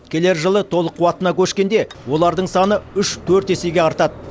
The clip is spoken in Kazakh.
келер жылы толық қуатына көшкенде олардың саны үш төрт есеге артады